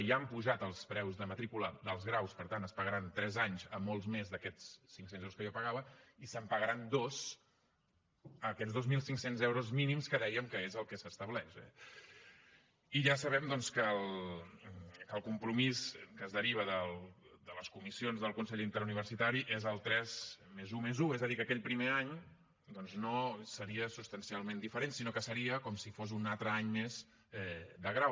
ja han pujat els preus de matrícula dels graus per tant es pagaran tres anys a molts més d’aquests cinc cents euros que jo pagava i se’n pagaran dos a aquests dos mil cinc cents euros mínims que dèiem que és el que s’estableix eh i ja sabem doncs que el compromís que es deriva de les comissions del consell interuniversitari és el tres+un+un és a dir que aquell primer any doncs no seria substancialment diferent sinó que seria com si fos un altre any més de grau